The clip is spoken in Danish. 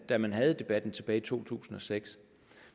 da man havde debatten tilbage i to tusind og seks